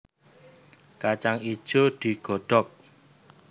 Kacang ijo digodhog